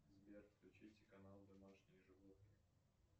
сбер включите канал домашние животные